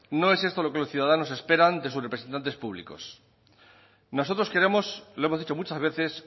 no es esto lo que los ciudadanos esperan de sus representantes públicos nosotros queremos lo hemos dicho muchas veces